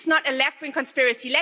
This is not a left wing conspiracy.